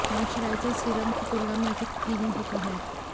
moisturiser serum की तुलना में अधिक क्रीमी होता है